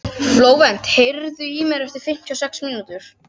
Flóvent, heyrðu í mér eftir fimmtíu og sex mínútur.